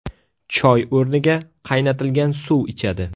Choy o‘rniga, qaynatilgan suv ichadi.